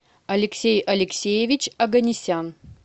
алексей алексеевич оганесян